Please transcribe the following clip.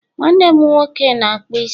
nwannem nwoke n'akpu isi